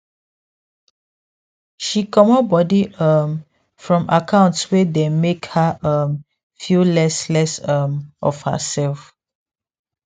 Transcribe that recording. she comot body um from account wey dey make her um feel less less um of herself